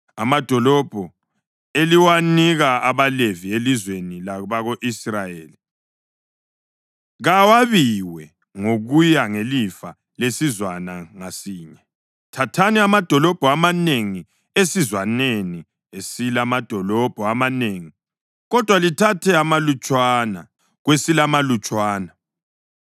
Amadolobho eliwanika abaLevi elizweni labako-Israyeli kawabiwe ngokuya ngelifa lesizwana ngasinye: Thathani amadolobho amanengi esizwaneni esilamadolobho amanengi, kodwa lithathe amalutshwana kwesilamalutshwana.”